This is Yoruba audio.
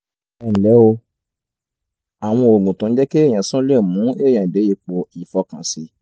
ẹ nlẹ́ o àwọn oògùn tó ń jẹ́ kéèyàn sùn le mú èèyàn dé ipò ìfọkànsìn